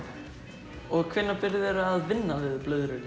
þú byrjaðir að vinna við blöðrulist